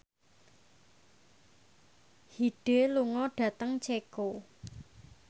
Hyde lunga dhateng Ceko